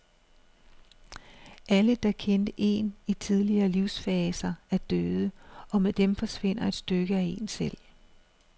Alle, der kendte en i tidligere livsfaser, er døde, og med dem forsvinder et stykke af en selv.